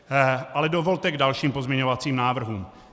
Ale dovolte k dalším pozměňovacím návrhům.